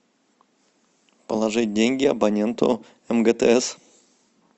положить деньги абоненту мгтс